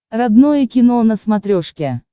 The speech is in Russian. родное кино на смотрешке